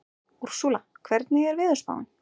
Úrsúla, hvernig er veðurspáin?